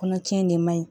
Kɔnɔ cɛn de man ɲi